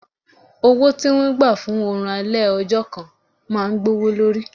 Owó tí wọ́n gbà fún oòrùn alẹ́ ọjọ́ máa gbówó lórí.